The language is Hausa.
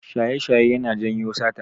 Shaye-shaye yana janyo sata.